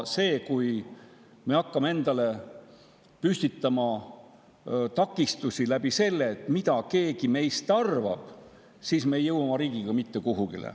Kui me hakkame endale püstitama takistusi, sellele, mida keegi meist arvab, siis me ei jõua oma riigiga mitte kuhugi.